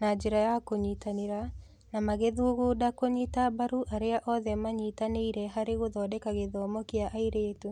na njĩra ya kũnyitanĩra, na magĩthugunda kũnyita mbaru arĩa othe manyitanĩire harĩ gũthondeka gĩthomo kĩa airĩtu.